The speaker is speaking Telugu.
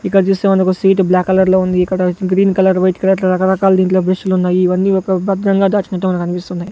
ఇక్కడ జూస్తే మనకు సీటు బ్లాక్ కలర్లో ఉంది ఇక్కడ గ్రీన్ కలర్ వైట్ కలర్ అట్ల రకరకాల దీంట్లో బ్రష్ లున్నాయి ఇవన్నీ ఒక భద్రంగా దాచిపెట్టి అనిపిస్తున్నాయ్.